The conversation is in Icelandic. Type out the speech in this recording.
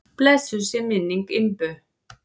Blessuð sé minning Imbu.